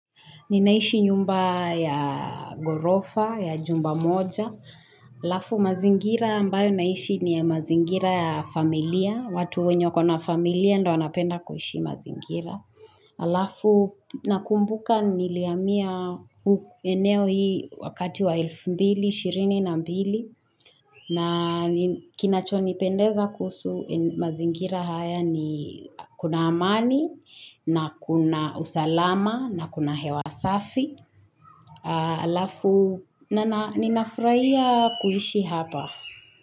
Ni naishi nyumba ya gorofa, ya jumba moja. Alafu mazingira ambayo naishi ni ya mazingira ya familia. Watu wenyo kona familia ndio wanapenda kuhishi mazingira. Alafu nakumbuka niliamia eneo hii wakati wa 2222. Na mbili na kinachonipendeza kuhusu mazingira haya ni kuna amani na kuna usalama na kuna hewasafi alafu na ninafraia kuishi hapa.